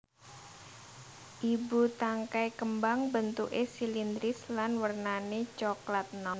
Ibu tangkai kembang bentuké silindris lan wernané coklat enom